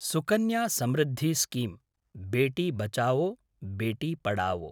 Sukanya Samriddhi scheme – Beti Bachao Beti Padhao